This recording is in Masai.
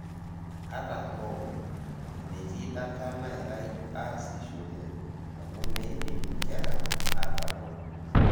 Ata hoo, metii data nairai aasishore amu meidim inkera atabol.